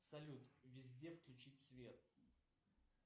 салют везде включить свет